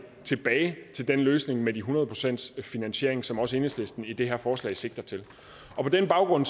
tilbage til løsningen med de hundrede procent i finansiering som også enhedslisten i det her forslag sigter til og på den baggrund